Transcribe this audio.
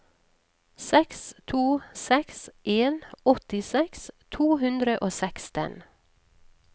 seks to seks en åttiseks to hundre og seksten